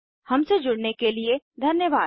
हमसे जुड़ने के लिए धन्यवाद